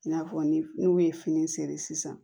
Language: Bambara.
I n'a fɔ ni n'u ye fini seri sisan